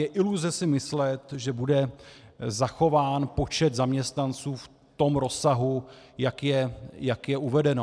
Je iluze si myslet, že bude zachován počet zaměstnanců v tom rozsahu, jak je uvedeno.